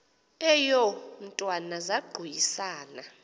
eyo mntwana zaquisana